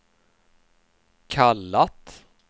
kallat